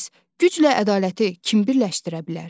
Bəs güclə ədaləti kim birləşdirə bilər?